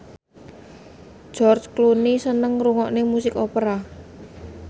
George Clooney seneng ngrungokne musik opera